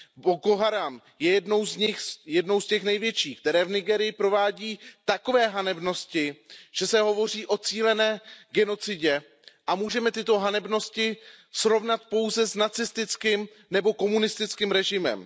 Boko Haram je jednou z nich, jednou z těch největších, které v Nigérii provádí takové hanebnosti, že se hovoří o cílené genocidě a můžeme tyto hanebnosti srovnat pouze s nacistickým nebo komunistickým režimem.